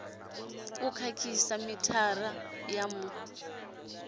u khakhisa mithara wa mu